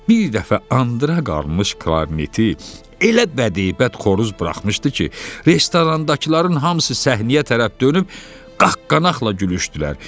Bir dəfə andıra qalmış klarneti elə bədibət xoruz buraxmışdı ki, restorandakıların hamısı səhnəyə tərəf dönüb qaqqanaqla gülüşdülər.